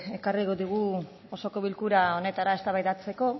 ekarri digu osoko bilkura honetara eztabaidatzeko